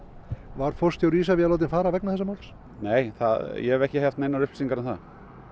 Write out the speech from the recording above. var forstjóri Isavia látinn fara vegna þessa máls nei ég hef ekki haft neinar upplýsingar um það